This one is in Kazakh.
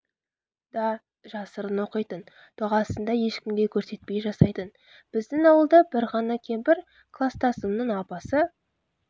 да жасырын оқитын дұғасын да ешкімге көрсетпей жасайтын біздің ауылда бір ғана кемпір кластасымның апасы